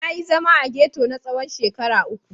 Na yi zama a ghetto na tsawon shekara uku.